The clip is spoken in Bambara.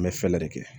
N bɛ fɛɛrɛ de kɛ